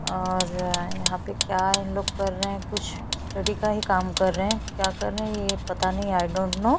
पीछे की दिवार पर भगत सिंह की फोटो टंगी हुई नज़र आ रही है।